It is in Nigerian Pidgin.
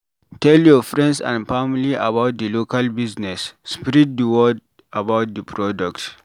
Tell your friends and family about di local business, spread di word about di product